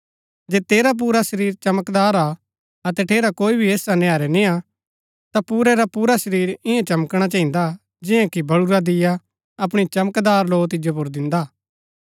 जे तेरा पुरा शरीर चमकदार हा अतै ठेरा कोई भी हिस्सा नैहरै नियां ता पुरै रा पुरा शरीर ईयां चमकणा चहिन्दा जियां कि बळुरा दीया अपणी चमकदार लौ तिजो पुर दिन्दा